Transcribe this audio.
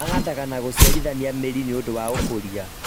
Mahandaga na gũciarithania mĩri nĩũndũ wa ũkũria